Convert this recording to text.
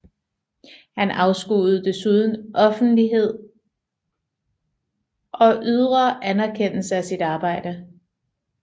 Han afskyede desuden offentlighed og ydre anerkendelse af sit arbejde